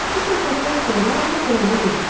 Bu söhbətdən sonra Ryo Qrana dedi.